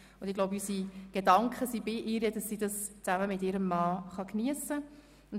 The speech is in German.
Unsere Gedanken sind bei ihr, und wir wünschen ihr, dass sie die Reise gemeinsam mit ihrem Mann geniessen kann.